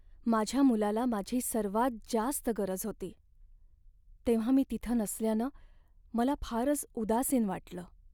माझ्या मुलाला माझी सर्वात जास्त गरज होती, तेव्हा मी तिथं नसल्यानं मला फारच उदासीन वाटलं.